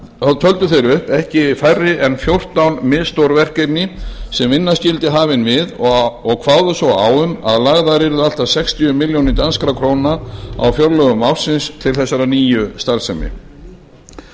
þá töldu þeir upp ekki færri en fjórtán misstór verkefni sem vinna skyldi hafin við og kváðu svo á um að lagðar yrðu allt að sextíu milljónum danskra króna á fjárlögum ársins til þessarar nýju starfsemi